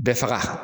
Bɛɛ faga